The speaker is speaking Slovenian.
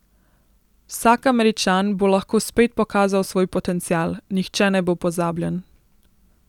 Vsak Američan bo lahko spet pokazal svoj potencial, nihče ne bo pozabljen.